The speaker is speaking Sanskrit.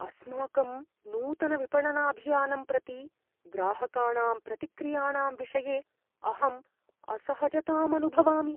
अस्माकं नूतनविपणनाभियानं प्रति ग्राहकाणां प्रतिक्रियाणां विषये अहम् असहजताम् अनुभवामि।